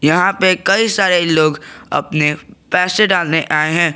यहां पे कई सारे लोग अपने पैसे डालने आए हैं।